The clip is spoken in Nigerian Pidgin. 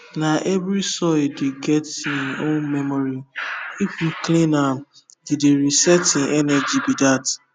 na every soil dey get hin own memory if you clean am you dey reset hin energy be that